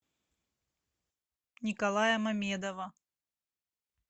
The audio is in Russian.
николая мамедова